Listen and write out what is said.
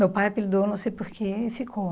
Meu pai apelidou, não sei porquê, e ficou.